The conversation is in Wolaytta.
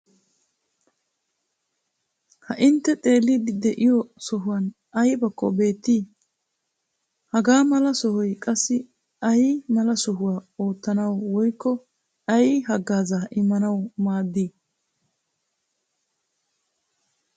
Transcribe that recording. Ha intte xeelliiddi de'iyo sohuwan aybakko beettii? Haga mala sohoy qassi ay mala oosuwa oottanawu woykko ay haggaazaa immanawu maaddii?